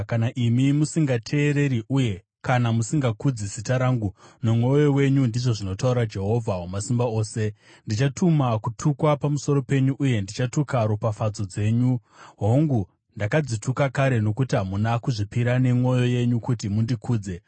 Kana imi musingateereri, uye kana musingakudzi zita rangu nomwoyo wenyu,” ndizvo zvinotaura Jehovha Wamasimba Ose, “ndichatuma kutukwa pamusoro penyu, uye ndichatuka ropafadzo dzenyu. Hongu, ndakadzituka kare, nokuti hamuna kuzvipira nemwoyo yenyu kuti mundikudze.